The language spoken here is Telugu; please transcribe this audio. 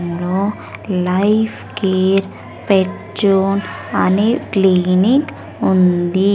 లో లైఫ్ కేర్ పెట్ జోన్ అని క్లీనిక్ ఉంది.